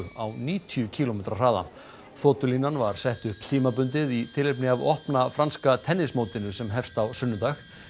á níutíu kílómetra hraða var sett upp tímabundið í tilefni af opna franska sem hófst á sunnudag